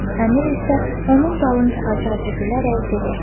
Əmir isə onun dalınca acı-acı gülərək dedi.